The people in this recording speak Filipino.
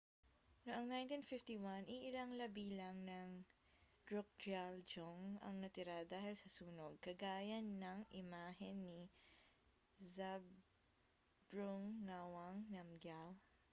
noong 1951 iilang labi lang ng drukgyal dzong ang natira dahil sa sunog kagaya ng imahen ni zhabdrung ngawang namgyal